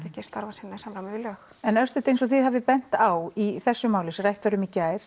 starfi sínu í samræmi við lög en örstutt eins og þið hafið bent á í þessu máli sem rætt var um í gær